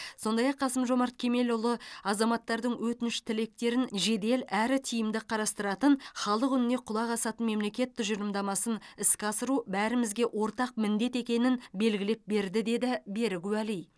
сондай ақ қасым жомарт кемелұлы азаматтардың өтініш тілектерін жедел әрі тиімді қарастыратын халық үніне құлақ асатын мемлекет тұжырымдамасын іске асыру бәрімізге ортақ міндет екенін белгілеп берді деді берік уәли